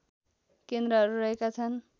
केन्द्रहरू रहेका छन्